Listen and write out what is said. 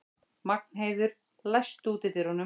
Magnheiður, læstu útidyrunum.